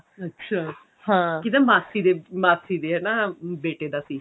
ਅੱਛਾ ਹਾਂ ਕਿਹਦੇ ਮਾਸੀ ਦੇ ਮਾਸੀ ਦੇ ਹਨਾ ਬੇਟੇ ਦਾ ਸੀ